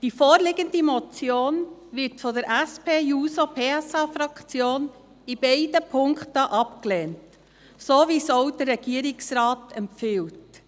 Die vorliegende Motion wird von der SP-JUSO-PSA-Fraktion in beiden Punkten abgelehnt, so wie dies auch der Regierungsrat empfiehlt.